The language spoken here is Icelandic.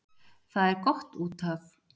Það er gott út af